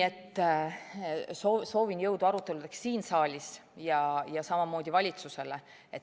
Soovin jõudu aruteludeks siin saalis ja samamoodi valitsusele.